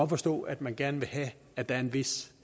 forstå at man gerne vil have at der er en vis